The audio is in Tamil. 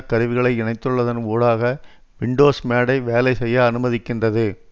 கருவிகளை இணைத்துள்ளதன் ஊடாக வின்டோஸ் மேடை வேலை செய்ய அனுமதிக்கின்றது